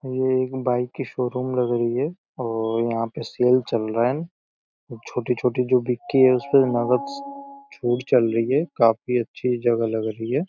ये एक बाइक की शोरूम लग रही हे औ यहाँ पे सेल चल रहा हेन्। छोटी छोटी जो विकी है उसपे नगद स् छूट चल रही है। काफी अच्छी जगह लग रही है।